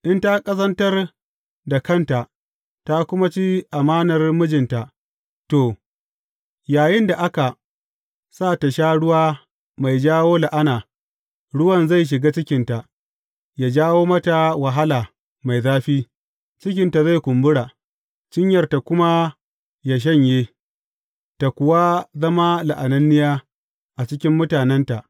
In ta ƙazantar da kanta ta kuma ci amanar mijinta, to, yayinda aka sa tă sha ruwa mai jawo la’ana, ruwan zai shiga cikinta, yă jawo mata wahala mai zafi; cikinta zai kumbura, cinyarta kuma yă shanye, tă kuwa zama la’ananniya a cikin mutanenta.